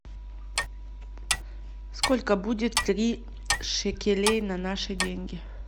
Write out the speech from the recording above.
сколько будет три шекелей на наши деньги